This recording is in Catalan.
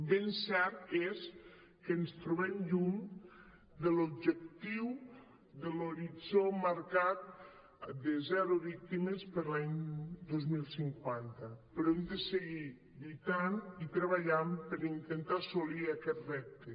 ben cert és que ens trobem lluny de l’objectiu de l’horitzó marcat de zero víctimes per a l’any dos mil cinquanta però hem de segur lluitant i treballant per intentar assolir aquest repte